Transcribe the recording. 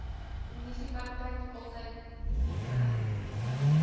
munisipaliteit altys bereid